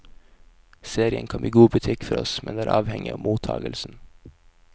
Serien kan bli god butikk for oss, men det er avhengig av mottagelsen.